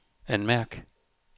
anmærk